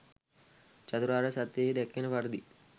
චතුරාර්ය සත්‍යයෙහි දැක්වෙන පරිදි